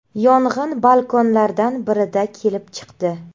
Yong‘in balkonlardan birida kelib chiqdi.